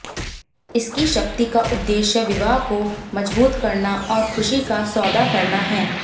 इसकी शक्ति का उद्देश्य विवाह को मजबूत करना और खुशी का सौदा करना है